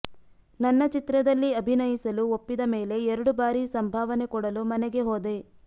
ನನ್ನ ಚಿತ್ರದಲ್ಲಿ ಅಭಿನಯಿಸಲು ಒಪ್ಪಿದ ಮೇಲೆ ಎರಡು ಬಾರಿ ಸಂಭಾವನೆ ಕೊಡಲು ಮನೆಗೆ ಹೋದೆ